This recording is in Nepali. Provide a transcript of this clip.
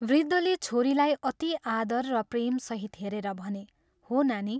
" वृद्धले छोरीलाई अति आदर र प्रेमसहित हेरेर भने, "हो नानी।